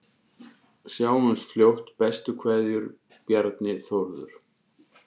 Sjáumst fljótt, bestu kveðjur: Bjarni Þórður